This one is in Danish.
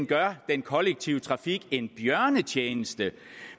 gør den kollektive trafik en bjørnetjeneste